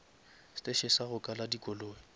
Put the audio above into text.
steše sa go kala dikoloi